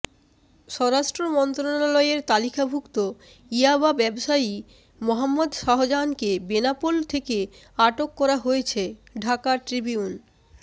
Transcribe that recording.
স্বরাষ্ট্র মন্ত্রণালয়ের তালিকাভুক্ত ইয়াবা ব্যবসায়ী মোহাম্মদ শাহজাহানকে বেনাপোল থেকে আটক করা হয়েছে ঢাকা ট্রিবিউন